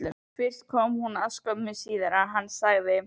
Fyrst kom hún og skömmu síðar kom hann og sagði